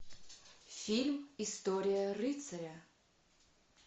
фильм история рыцаря